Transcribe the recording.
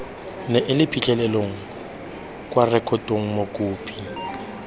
neele phitlhelelo kwa rekotong mokopi